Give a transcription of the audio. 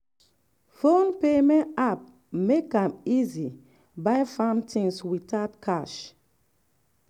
phone payment app make am easy buy farm things without cash.